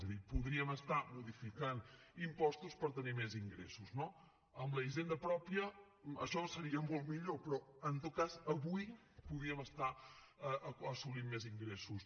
és a dir podríem estar modificant impostos per tenir més ingressos no amb la hisenda pròpia això seria molt millor però en tot cas avui podríem estar assolint més ingressos